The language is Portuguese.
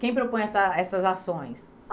Quem propõe essa essas ações?